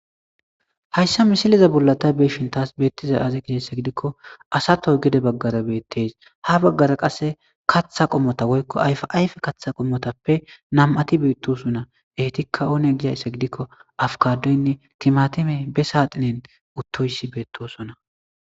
hayssa misileza bollata beeshin taas beettiza aze gisheyssa gidikko asato gede baggara beettes ha baggara qasse kaththa qommota woykko ayfayfe kaththa qommotappe nam7ati beettosunna etikka oone gizayssa gidikko afkadoynne timatime be saaxinen uttoyssi beettosonna